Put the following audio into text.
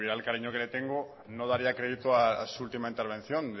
el cariño que le tengo no daría crédito a su última intervención